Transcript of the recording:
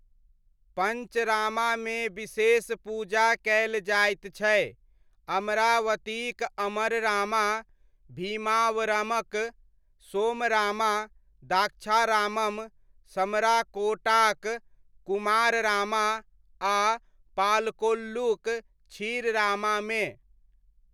पञ्चरामामे विशेष पूजा कयल जायत छै, अमरावतीक अमररामा, भीमावरमक सोमरामा, द्राक्षारामम, समराकोटाक कुमाररामा आ पालकोल्लूक क्षीररामामे।